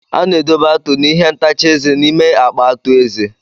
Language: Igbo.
A na-edobe atu na ihe ntacha eze n'ime akpa atu Eze.